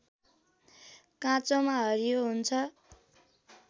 काँचोमा हरियो हुन्छ